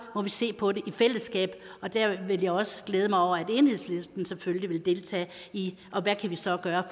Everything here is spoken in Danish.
må vi se på det i fællesskab og der vil jeg også glæde mig over at enhedslisten selvfølgelig vil deltage i